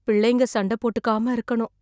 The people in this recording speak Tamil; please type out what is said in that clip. பிள்ளைங்க சண்டை போட்டுக்காம‌ இருக்கணும்.